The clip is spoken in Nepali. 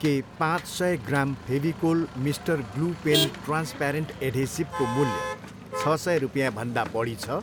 के पाँच सय gram Fevicol mister glue pen transparent एढेसिभको मूल्य छ सय रुपियाँभन्दा बढी छ?